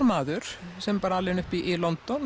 maður sem var alinn upp í London